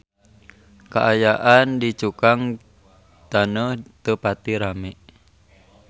Kaayaan di Cukang Taneuh teu pati rame